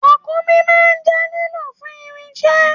Ràkúnmí máa n jẹ lilọ fun irinṣẹ́.